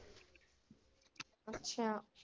ਅੱਛਾ।